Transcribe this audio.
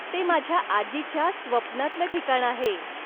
ते माझ्या आजीच्या स्वप्नातलं ठिकाण आहे.